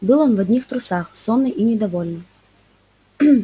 был он в одних трусах сонный и недовольный